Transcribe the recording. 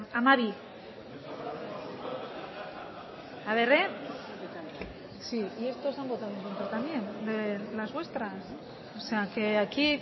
sí gracias hamabi haber eh las vuestras o sea que aquí